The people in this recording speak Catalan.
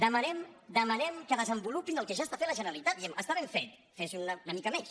demanem demanem que desenvolupin el que ja està fent la generalitat diem està ben fet fes una mica més